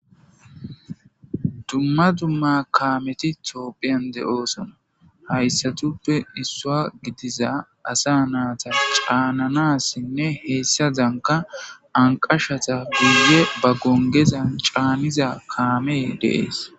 Dumma dumma kaameti tophiya giddon deetes hayssatupe issuwa gidiza asa naata caananas giigidi ba gonggeza giddon caanishe deetes.